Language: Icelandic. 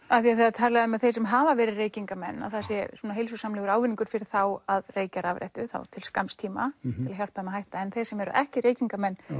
af því það er talað um að þeir sem hafa verið reykingarmenn að það sé svona heilsusamlegur ávinningur fyrir þá að reykja rafrettu þá til skamms tíma til að hjálpa þeim að hætta en þeir sem eru ekki reykingarmenn